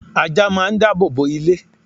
ajá máà ń dábòbò ilé